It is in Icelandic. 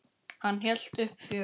Hann hélt uppi fjöri.